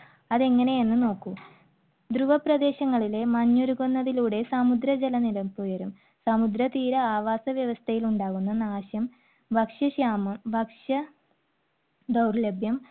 അത് എങ്ങനെയാണെന്നു നോക്കൂ. ധ്രുവപ്രദേശങ്ങളിലെ മഞ്ഞുരുകുന്നതിലൂടെ സമുദ്ര ജലനിരപ്പ് ഉയരും. സമുദ്ര തീര ആവാസവ്യവസ്ഥയിൽ ഉണ്ടാവുന്ന നാശം, ഭക്ഷ്യക്ഷാമം, ഭക്ഷ്യദൗർലഭ്യം